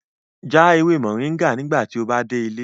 Jẹ awon ewe moringa nigbati o ba de ile